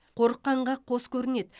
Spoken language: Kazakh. қорыққанға қос көрінеді